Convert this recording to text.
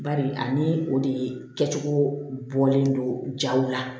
Bari ani o de kɛcogo bɔlen don jaw la